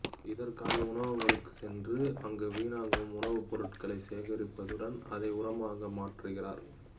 இதற்காக உணவகங்களுக்குச் சென்று அங்கு வீணாகும் உணவுப் பொருட்களை சேகரிப்பதுடன் அதை உரமாக மாற்றுகிறார்